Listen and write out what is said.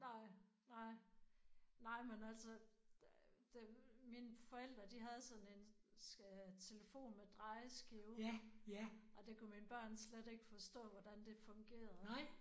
Nej nej. Nej men altså der det mine forældre de havde sådan en telefon med drejeskive og det kunne børn slet ikke forstå hvordan det fungerede